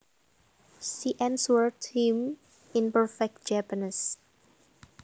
She answered him in perfect Japanese